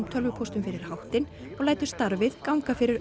tölvupóstum fyrir háttinn og lætur starfið ganga fyrir